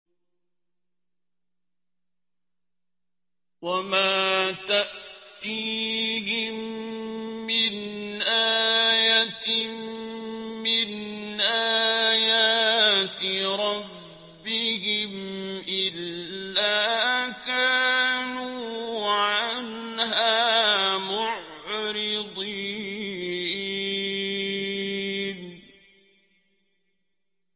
وَمَا تَأْتِيهِم مِّنْ آيَةٍ مِّنْ آيَاتِ رَبِّهِمْ إِلَّا كَانُوا عَنْهَا مُعْرِضِينَ